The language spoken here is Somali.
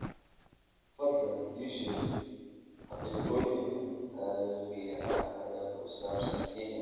fadlan ii sheeg xaqiiqooyinka taariikhiga ah ee ku saabsan kenya